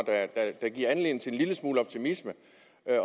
der giver anledning til en lille smule optimisme